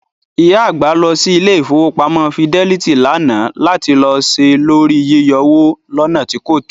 ìyá àgbà lọ sí ilé Ìfowópamọ́ Fidelit lánàá lati lọ ṣe lóri yíyọwó lọ́nà tí kòtó.